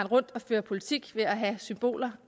rundt og føre politik med symboler